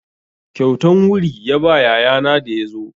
Kyautan wuri ya ba yayana da ya zo.